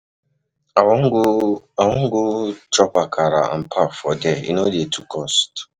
I wan go wan go chop akara and pap for there, e no dey too cost.